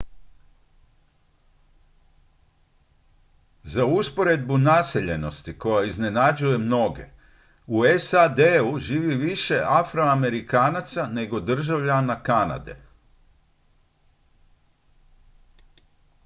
za usporedbu naseljenosti koja iznenađuje mnoge u sad-u živi više afroamerikanaca nego državljana kanade